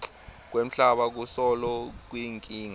kwemhlaba kusolo kuyinkinga